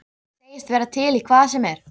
Segist vera til í hvað sem er.